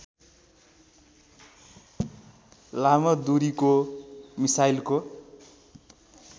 लामो दूरीको मिसाइलको